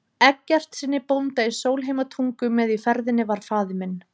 Eggertssyni bónda í Sólheimatungu, með í ferðinni var faðir minn